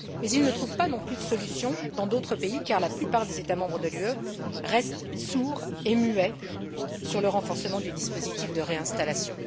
Mais elles ne trouvent pas non plus de solutions dans d'autres pays, car la plupart des États membres de l'Union restent sourds et muets sur le renforcement des dispositifs de réinstallation.